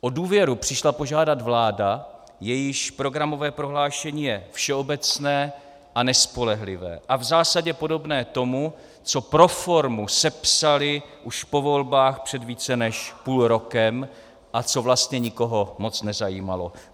O důvěru přišla požádat vláda, jejíž programové prohlášení je všeobecné a nespolehlivé a v zásadě podobné tomu, co pro formu sepsali už po volbách před více než půl rokem a co vlastně nikoho moc nezajímalo.